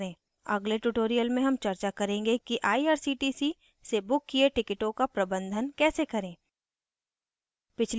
अगले tutorial में हम चर्चा करेंगे कि irctc से booked किये टिकिटों का प्रबंधन कैसे करें